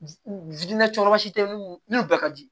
nun bɛɛ ka di